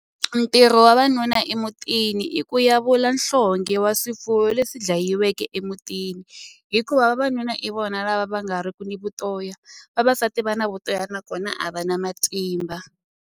Ntirho wa vanuna emutini i ku yavula nhlonge wa swifuwo leswi dlayiweke emutini hikuva vavanuna i vona lava va nga ri ku ni vutoya vavasati va na vutoya nakona a va na matimba.